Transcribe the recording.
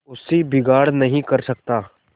उससे बिगाड़ नहीं कर सकता